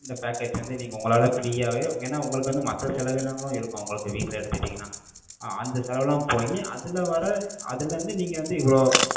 இந்த package வந்து, நீங்க உங்களால, free யாவே, ஏன்னா, உங்களுக்கு வந்து, மத்த செலவீனங்களும் இருக்கும், உங்களுக்கு வீட்டுல எடுத்துட்டீங்கன்னா, அஹ் அந்த செலவெல்லாம் போயி, அதுல வர்ற, அதுல இருந்து, நீங்க வந்து, இவ்வளோ,